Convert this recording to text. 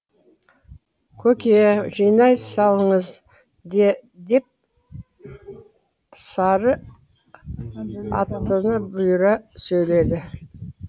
көке жинай салыңыз деп сары алтыны бұйыра сөйледі